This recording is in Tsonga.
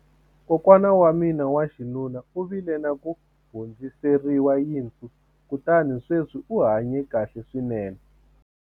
kokwana wa mina wa xinuna u vile na ku hundziseriwa yinsu kutani sweswi u hanye kahle swinene